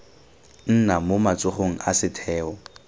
nna mo matsogong a setheo